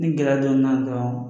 Ni gɛlɛya donn'a la dɔrɔn